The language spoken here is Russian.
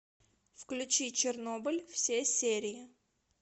включи чернобыль все серии